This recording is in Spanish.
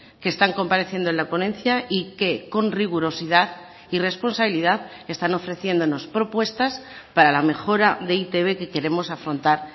que están compareciendo en la ponencia y que con rigurosidad y responsabilidad están ofreciéndonos propuestas para la mejora de e i te be que queremos afrontar